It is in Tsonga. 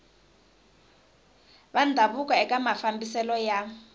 va ndhavuko eka mafambiselo ya